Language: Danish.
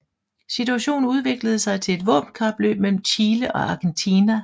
Situationen udviklede sig til et våbenkapløb mellem Chile og Argentina